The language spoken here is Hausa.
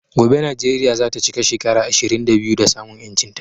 Gobe Nijeria zata chika shekara ishirin da biyu da samun yanchin ta